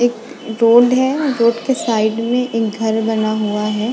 एक रोड है रोड के साइड में एक घर बना हुआ है।